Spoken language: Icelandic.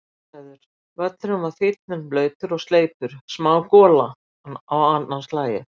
Aðstæður: Völlurinn var fínn en blautur og sleipur, smá gola á annað markið.